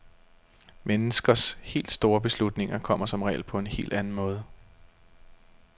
Menneskers helt store beslutninger kommer som regel på en helt anden måde.